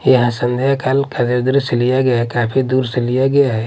यह संध्या काल का दृश्य लिया गया है काफी दूर से लिया गया है।